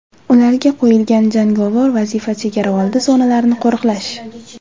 Ularga qo‘yilgan jangovar vazifa chegaraoldi zonalarini qo‘riqlash.